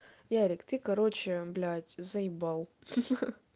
ярик ты короче блять заебал ха-ха